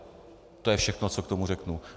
To je všechno, co k tomu řeknu.